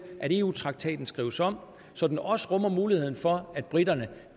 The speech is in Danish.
at eu traktaten skrives om så den også rummer muligheden for at briterne